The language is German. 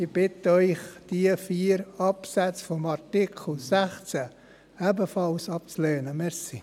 Ich bitte Sie, diese vier Absätze des Artikels 16 ebenfalls abzulehnen, danke.